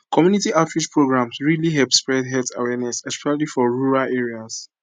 community outreach programs really help spread health awareness especially for rural areas